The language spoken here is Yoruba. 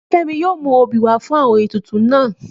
Nífẹ́mi yóò mú obì wá fún àwọn ètùtù náà